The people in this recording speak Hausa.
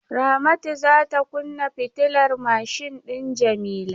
Ramatu za ta kunna fitilar mashin din Jamila.